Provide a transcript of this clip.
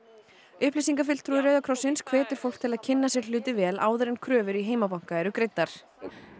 upplýsingafulltrúi Rauða krossins hvetur fólk til að kynna sér hluti vel áður en kröfur í heimabanka eru greiddar